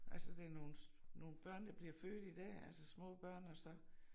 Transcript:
Altså det nogle nogle børn der bliver født i dag altså små børn og så